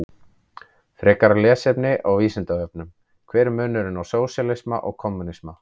Frekara lesefni á Vísindavefnum: Hver er munurinn á sósíalisma og kommúnisma?